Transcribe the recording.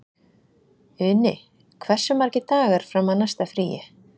Uni, hversu margir dagar fram að næsta fríi?